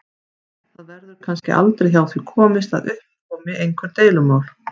Það verður kannski aldrei hjá því komist að upp komi einhver deilumál.